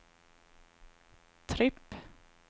tripp